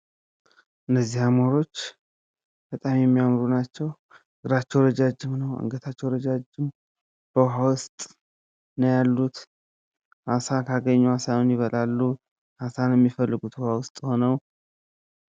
እነዚህ አሞሮች በጣም የሚያምሩ ናቸዉ። እግራቸዉ ረዣዥም ነዉ። አንገታቸዉ ረዣዥም ነዉ። በዉኃ ዉስጥ ነዉ ያሉት። አሳ ካገኙ አሳዉን ይበላሉ። አሳ ነዉ የሚፈልጉት ዉኃ ዉስጥ ሆነዉ።